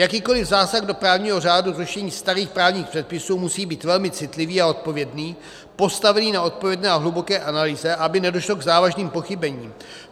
Jakýkoli zásah do právního řádu, zrušení starých právních předpisů, musí být velmi citlivý a odpovědný, postavený na odpovědné a hluboké analýze, aby nedošlo k závažným pochybením.